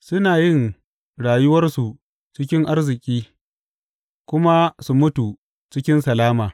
Suna yin rayuwarsu cikin arziki kuma su mutu cikin salama.